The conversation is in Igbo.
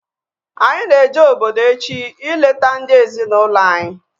Anyị na-eje obodo echi ileta ndị ezi na ụlọ anyị